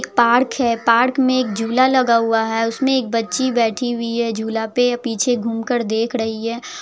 Park है park में एक झूला लगा हुआ है उसमें एक बच्ची बैठी हुई है झूला पे पीछे घूम कर देख रही है।